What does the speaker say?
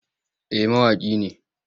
Eh mawaƙi ne.